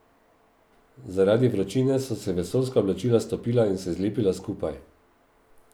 Zaradi vročine so se vesoljska oblačila stopila in se zlepila skupaj.